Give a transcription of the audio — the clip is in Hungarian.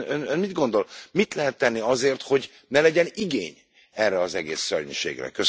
Ön mit gondol, mit lehet tenni azért, hogy ne legyen igény erre az egész szörnyűségre?